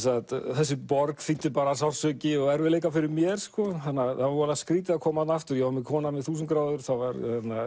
þessi borg þýddi bara sársauki og erfiðleikar fyrir mér þannig að var skrýtið að koma þarna aftur ég var með konan við þúsund gráður það var